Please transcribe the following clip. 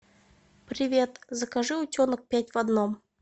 привет закажи утенок пять в одном